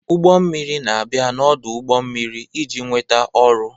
Ụgbọ mmiri na-abịa n'ọdụ ụgbọ mmiri iji nweta ọrụ.